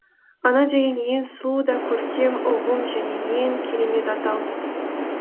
ана деген ең сұлу да көркем ұғым және ең керемет атау